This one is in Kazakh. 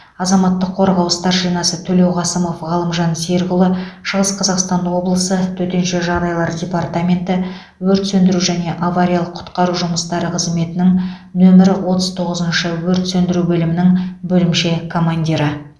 азаматтық қорғау старшинасы төлеуқасымов ғалымжан серікұлы шығыс қазақстан облысы төтенше жағдайлар департаменті өрт сөндіру және авариялық құтқару жұмыстары қызметінің нөмірі отыз тоғызыншы өрт сөндіру бөлімінің бөлімше командирі